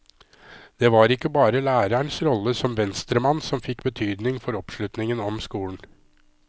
Det var ikke bare lærerens rolle som venstremann som fikk betydning for oppslutningen om skolen.